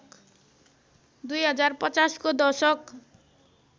२०५० को दशक